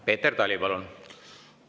Peeter Tali, palun!